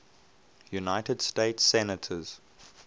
united states senators